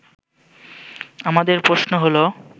আমাদের প্রশ্ন হলো